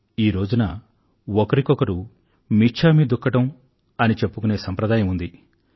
ఈ రోజున ఒకరికొకరు మిచ్ఛామి దుక్కడం అని చెప్పుకునే సంప్రదాయం ఉంది